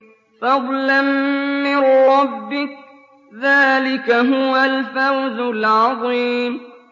فَضْلًا مِّن رَّبِّكَ ۚ ذَٰلِكَ هُوَ الْفَوْزُ الْعَظِيمُ